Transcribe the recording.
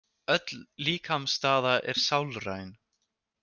Öll líkamsstaða er sálræn.